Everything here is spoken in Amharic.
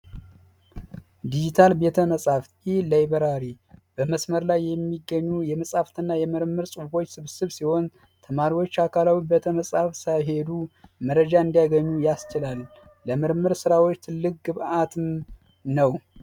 ዲጂታል ቤተ መጻፍ ይህ ላይበራሪ በመስመር ላይ የሚገኙ የመጽሀፍት እና የምርምር ሑፎች ስብስብ ሲሆን ተማሪዎች አካላዊ ሳይሄዱ መረጃ እንዲያገኙ ያስችላል ።ምርምር ስራዎች ትልቅ ግብዓት ነው።